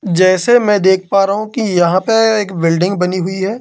जैसे मैं देख पा रहा हूं कि यहां पर एक बिल्डिंग बनी हुई है।